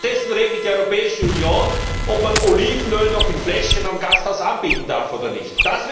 Stattdessen regelt die Europäische Union, ob man Olivenöl noch in Fläschchen im Gasthaus anbieten darf oder nicht.